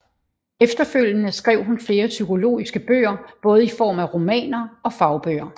Efterfølgende skrev hun flere psykologiske bøger både i form af romaner og fagbøger